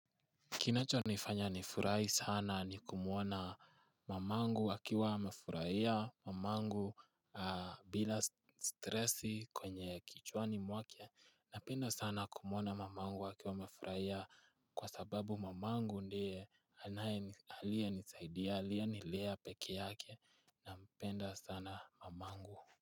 Kinachonifanya nifurahi sana ni kumuona mamangu akiwa amefuraia mamangu bila stresi kwenye kichwani mwake napenda sana kumuona mamangu akiwa amefuraia kwa sababu mamangu ndiye aliyenisaidia aliyenilea peke yake napenda sana mamangu.